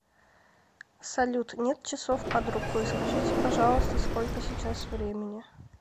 салют нет часов под рукой скажите пожалуйста сколько сейчас времени